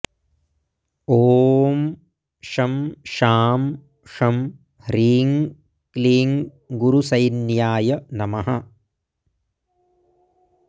ॐ शं शां षं ह्रीं क्लीं गुरुसैन्याय नमः